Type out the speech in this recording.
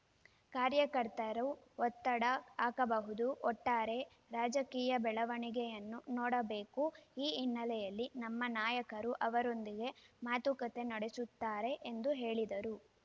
ಕಾರ್ಯಕರ್ತರು ಒತ್ತಡ ಹಾಕಬಹುದು ಒಟ್ಟಾರೆ ರಾಜಕೀಯ ಬೆಳವಣಿಗೆಯನ್ನು ನೋಡಬೇಕು ಈ ಹಿನ್ನೆಲೆಯಲ್ಲಿ ನಮ್ಮ ನಾಯಕರು ಅವರೊಂದಿಗೆ ಮಾತುಕತೆ ನಡೆಸುತ್ತಾರೆ ಎಂದು ಹೇಳಿದರು